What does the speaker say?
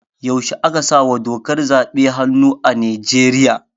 Yaushe aka sawa dokar zaɓe hannu a Nigeria?